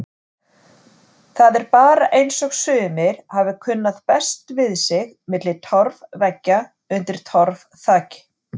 Það er bara eins og sumir hafi kunnað best við sig milli torfveggja undir torfþaki.